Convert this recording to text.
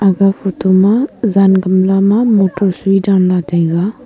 aga photo ma jan gamla ma motor soi danla taiga.